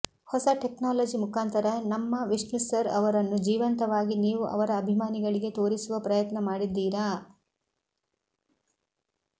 ಹೊಸ ಟೆಕ್ನಾಲಜಿ ಮುಖಾಂತರ ನಮ್ಮ ವಿಷ್ಣು ಸರ್ ಅವರನ್ನು ಜೀವಂತವಾಗಿ ನೀವು ಅವರ ಅಭಿಮಾನಿಗಳಿಗೆ ತೋರಿಸುವ ಪ್ರಯತ್ನ ಮಾಡಿದ್ದೀರಾ